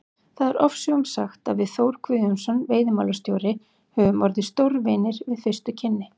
Það er ofsögum sagt að við Þór Guðjónsson veiðimálastjóri höfum orðið stórvinir við fyrstu kynni.